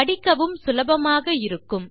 படிக்கவும் சுலபமாக இருக்கும்